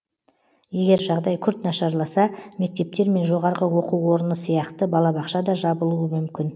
егер жағдай күрт нашарласа мектептер мен жоғары оқу орыны сияқты балабақша да жабылуы мүмкін